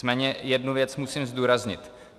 Nicméně jednu věc musím zdůraznit.